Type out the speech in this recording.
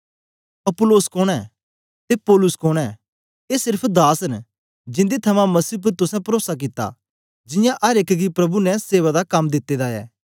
Apollos कोन ऐं ते पौलुस कोन ऐं ए सेर्फ दास न जिन्दे थमां मसीह उपर तुसें परोसा कित्ता जियां अर एक गी प्रभु ने सेवा दा कम दिते दा ऐ